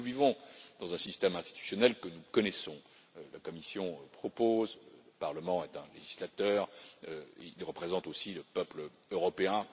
Nous vivons dans un système institutionnel que nous connaissons la Commission propose le Parlement est un législateur, il représente aussi le peuple européen